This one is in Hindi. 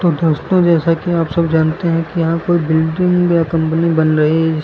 और दोस्तों जैसा कि आप सब जानते हैं कि यहां कोई बिल्डिंग या कंपनी बन रही जिस--